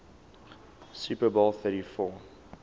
super bowl xliv